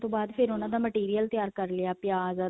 ਬਾਅਦ ਫ਼ੇਰ ਉਹਨਾ ਦਾ material ਤਿਆਰ ਕਰ ਲਿਆ ਪਿਆਜ਼